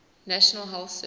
national health service